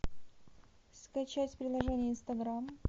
скачать приложение инстаграм